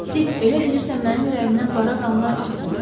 Dik, elə bilirsən mənim ürəyimdən qara qanlar axmır?